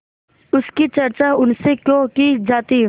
उसकी चर्चा उनसे क्यों की जाती